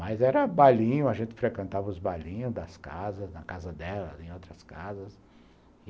Mas era balinho, a gente frequentava os balinhos das casas, na casa delas, em outras casas.